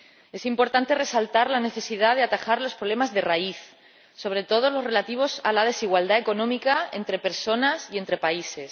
Es importante resaltar la necesidad de atajar los problemas de raíz, sobre todo los relativos a la desigualdad económica entre personas y entre países.